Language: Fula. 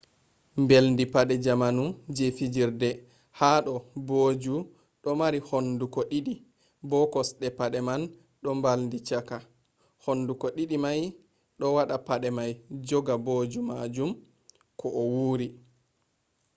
mbeldi pade jamanu je fijirde ha do booju do marii hunduko di'di bo kosde pade man do mbaldi chaka. hunduko di'di mai do wada pade mai joga booju majum ko a wuri